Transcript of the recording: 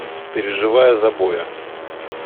переживая за боя